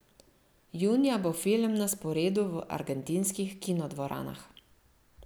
Junija bo film na sporedu v argentinskih kinodvoranah.